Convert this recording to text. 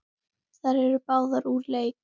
Þær eru báðar úr leik.